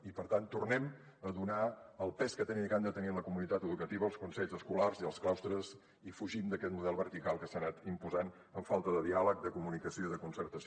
i per tant tornem a donar el pes que tenen i que han de tenir en la comunitat educativa els consells escolars i els claustres i fugim d’aquest model vertical que s’ha anat imposant amb falta de diàleg de comunicació i de concertació